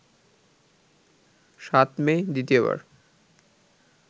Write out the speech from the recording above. ৭ May দ্বিতীয়বার